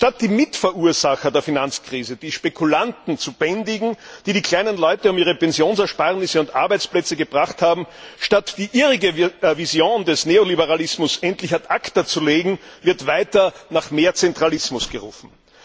Anstatt die Mitverursacher der Finanzkrise, die Spekulanten, zu bändigen, die die kleinen Leute um ihre Pensionsersparnisse und Arbeitsplätze gebracht haben, anstatt die irrige Vision des Neoliberalismus endlich ad acta zu legen, wird weiter nach mehr Zentralismus gerufen.